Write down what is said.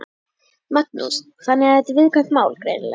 Magnús: Þannig að þetta er viðkvæmt mál, greinilega?